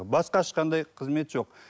басқа ешқандай қызмет жоқ